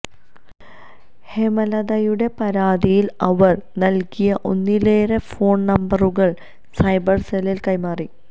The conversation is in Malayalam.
ഹേമലതയുടെ പരാതിയില് അവര് നല്കിയ ഒന്നിലേറെ ഫോണ് നമ്പറുകള് സൈബര് സെല്ലിന് കൈമാറി